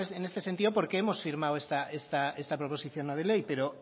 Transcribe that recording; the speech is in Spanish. en este sentido porque hemos firmado esta proposición no de ley pero